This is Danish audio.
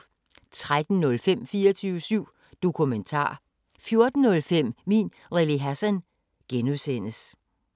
13:05: 24syv Dokumentar 14:05: Min Lille Hassan (G)